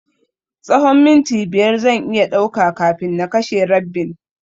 Tsahon minti biyar zan iya ɗauka kafin na kashe rabbin.